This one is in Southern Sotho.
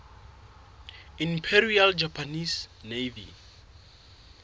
imperial japanese navy